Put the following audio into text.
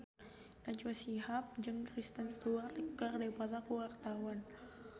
Najwa Shihab jeung Kristen Stewart keur dipoto ku wartawan